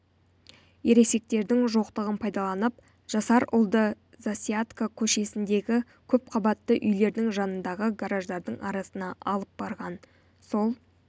ересектердің жоқтығын пайдаланып жасар ұлды засядко көшесіндегі көпқабатты үйлердің жанындағы гараждардың арасына алып барған сол